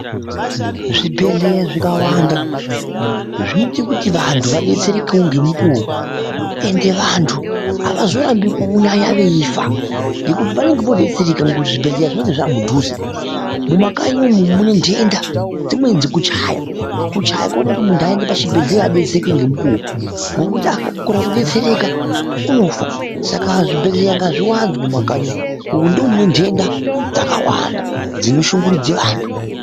Zvibhedhlera zvikawanda zvinoite kuti vandu vabetsereke nenguva ende vandu havazorambe kuzonyanye vechifa nekuti vanenge vobetsereka nekuti zvibhedhlera zvinenge zvave padhuze . mumakanyi umu mune ndenda dzinedzichichaya kuchaya kunoita kuti munhu ayenda pachibhedhlera nenguwa wekuti akakona kubetsereka unofa saka zvibhedhlera ngazviwanzwe mumakanyi umo mune ndenda dzakawanda dzinoshungurudze vantu .